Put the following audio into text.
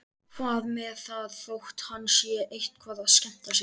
Hvað með það þótt hann sé eitthvað að skemmta sér?